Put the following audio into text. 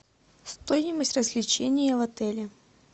стоимость развлечения в отеле